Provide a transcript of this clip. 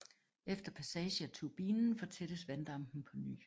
Efter passage af turbinen fortættes vanddampen på ny